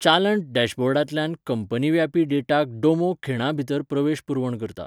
चालंत डॅशबोर्डांतल्यान कंपनीव्यापी डेटाक डोमो खीणा भितर प्रवेश पुरवण करता.